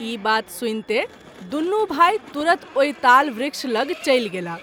ई बात सुनिते दुनू भाई तुरत ओहि ताल वृक्ष लग चलि गेलाह।